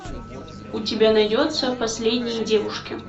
у тебя найдется последние девушки